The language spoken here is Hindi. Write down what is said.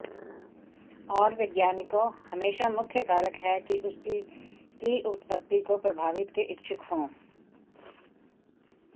और वैज्ञानिकों हमेशा मुख्य कारक है कि उसकी की उत्पत्ति को प्रभावित के इच्छुक हों